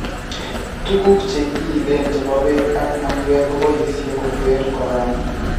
Tukuk chekiyiilen chebo beek ak mayweek koboisye kotere corona